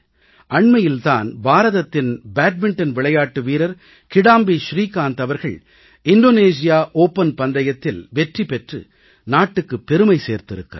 அண்மையில் தான் பாரதத்தின் பேட்மிண்டன் விளையாட்டு வீரர் கிடாம்பி ஸ்ரீகாந்த் அவர்கள் இந்தோனேசியா ஓப்பன் பந்தயத்தில் வெற்றி பெற்று நாட்டுக்குப் பெருமை சேர்த்திருக்கிறார்